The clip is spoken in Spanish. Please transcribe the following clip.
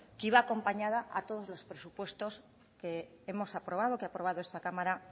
que iba acompañada a todos los presupuestos que hemos aprobado que ha aprobado esta cámara